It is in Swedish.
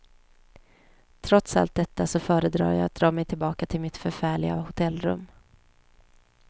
Trots allt detta så föredrar jag att dra mej tillbaka till mitt förfärliga hotellrum.